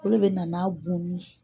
Olu de bɛ na n'a bunnin ye